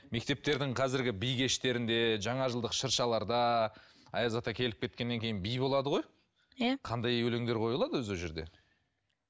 мектептердің қазіргі би кештерінде жаңа жылдық шыршаларда аяз ата келіп кеткеннен кейін би болады ғой иә қандай өлеңдер қойылады өзі ол жерде